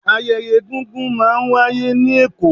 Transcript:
ayẹyẹ egungun ma n wàyé ni Èko